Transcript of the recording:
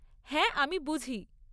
হ্যাঁ, আমি বুঝি।